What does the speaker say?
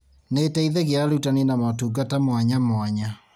Nĩ ĩteithagia arutani na motungata mwanya mwanya